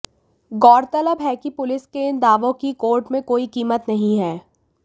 गौरतलब है कि पुलिस के इन दावों की कोर्ट में कोई कीमत नहीं है